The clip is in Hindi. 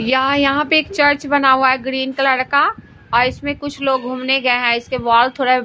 यहां यहां पे एक चर्च बना हुआ हैग्रीन कलर का और इसमें कुछ लोग घूमने गए हैंइसके वॉल थोड़ा।